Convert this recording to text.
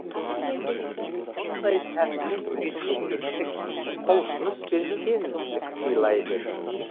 мұндай тәсіл сізге сергектік құлшыныс пен сенімділік сыйлайды